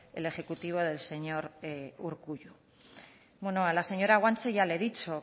el ejecutivo del señor urkullu bueno a la señora guache ya le he dicho